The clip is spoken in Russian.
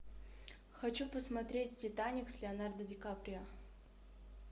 хочу посмотреть титаник с леонардо ди каприо